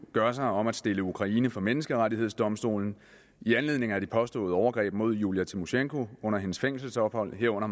gør sig om at stille ukraine for menneskerettighedsdomstolen i anledning af de påståede overgreb mod julija tymosjenko under hendes fængselsophold herunder